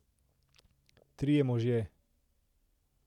Trije možje.